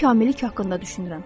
Mən kamillik haqqında düşünürəm.